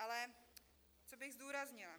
Ale co bych zdůraznila.